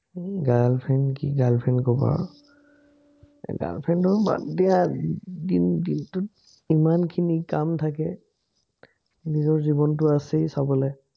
উম girl friend কি girl friend কবা আৰু। girl friend ৰ বাদ দিয়া আজি দিনটোত, ইমানখিনি কাম থাকে, নিজৰ জীৱনটো আছেই চাবলে।